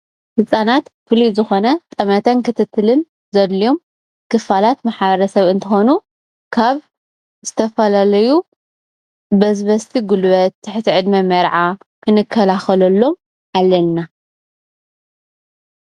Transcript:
ህፃናት ፍሉይ ዝኾነ ጠመተን ክትትልን ዘድልዮም ክፋላት ማሕበረሰብ እንትኾኑ ካብ ዝተፈላለዩ በዝበዝቲ ጉልበት፣ ትሕቲ ዕድመ መርዓ ክንከላኸለሎም ኣለና፡፡